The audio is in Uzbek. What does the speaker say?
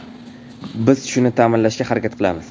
Biz shuni ta’minlashga harakat qilamiz.